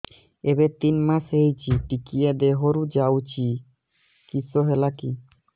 ଏବେ ତିନ୍ ମାସ ହେଇଛି ଟିକିଏ ଦିହରୁ ଯାଉଛି କିଶ ହେଲାକି